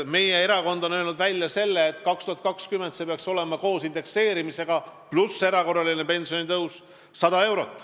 Meie erakond on öelnud välja selle, et aastaks 2020 peaks see kasv olema 100 eurot.